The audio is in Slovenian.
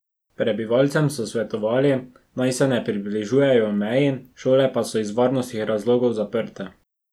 Prebivalcem so svetovali, naj se ne približujejo meji, šole pa so iz varnostnih razlogov zaprte.